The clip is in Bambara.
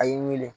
A y'i wele